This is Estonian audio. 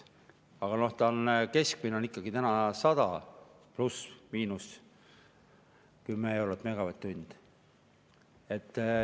Aga keskmine on 100 ± 10 eurot megavatt-tunni eest.